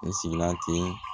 N sigila ten